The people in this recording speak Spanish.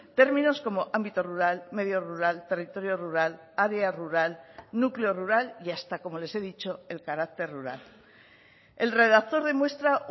términos como ámbito rural medio rural territorio rural área rural núcleo rural y hasta como les he dicho el carácter rural el redactor demuestra